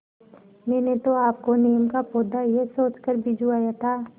मैंने तो आपको नीम का पौधा यह सोचकर भिजवाया था